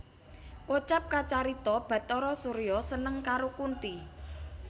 Kocap kacarita Bhatara Surya seneng karo Kunthi